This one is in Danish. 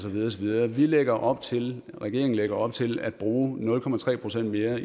videre vi lægger op til regeringen lægger op til at bruge nul procent mere